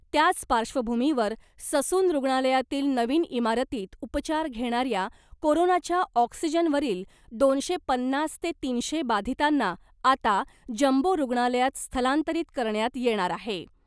त्याच पार्श्वभूमीवर, ससून रुग्णालयातील नवीन इमारतीत उपचार घेणाऱ्या कोरोनाच्या ऑक्सिजनवरील दोनशे पन्नास ते तीनशे बाधितांना आता जम्बो रुग्णालयात स्थलांतरित करण्यात येणार आहे .